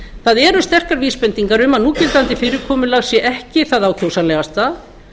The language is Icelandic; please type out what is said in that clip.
það eru sterkar vísbendingar um að núverandi fyrirkomulag sé ekki það ákjósanlegasta